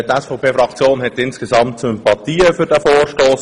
Die SVP-Fraktion hat insgesamt Sympathien für diesen Vorstoss.